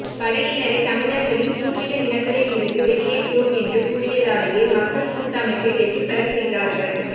படையினரை தமிழர்களின் பூர்வீக நிலங்களில் இருந்து வெளியேற்றுவோம் என்று கூறியதாலேயே மக்கள் கூட்டமைப்பை வெற்றி பெறச் செய்தார்கள்